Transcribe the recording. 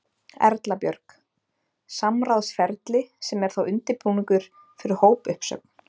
Erla Björg: Samráðsferli sem er þá undirbúningur fyrir hópuppsögn?